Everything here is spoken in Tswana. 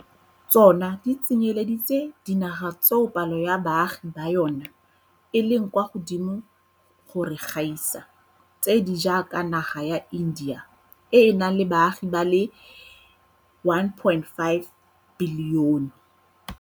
Tsona di tsenyeletsa le dinaga tseo palo ya baagi ba yona e leng kwa godimo go re gaisa, tse di jaaka naga ya India e e nang le baagi ba le 1.5 bilione.